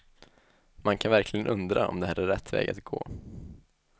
Man kan verkligen undra om det här är rätt väg att gå.